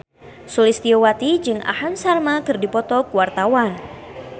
Sulistyowati jeung Aham Sharma keur dipoto ku wartawan